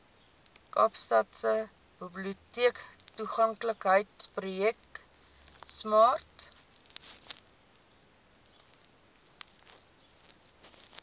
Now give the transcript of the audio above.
kaapstadse biblioteektoeganklikheidsprojek smart